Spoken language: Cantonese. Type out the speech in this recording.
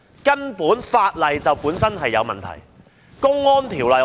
根本法例本身就有問題，《公安條例》正是一例。